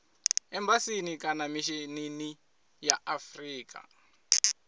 embasini kana mishinini wa afrika